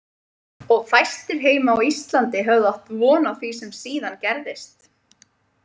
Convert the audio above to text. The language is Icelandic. Og fæstir heima á Íslandi höfðu átt von á því sem síðan gerðist.